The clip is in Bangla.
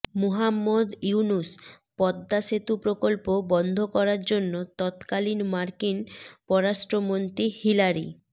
মুহাম্মদ ইউনূস পদ্মা সেতু প্রকল্প বন্ধ করার জন্য তৎকালীন মার্কিন পররাষ্ট্রমন্ত্রী হিলারি